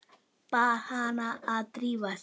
Bað hana að drífa sig.